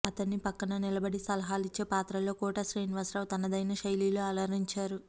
అతని పక్కన నిలబడి సలహాలిచ్చే పాత్రలో కోట శ్రీనివాసరావు తనదైన శైలిలో అలరించారు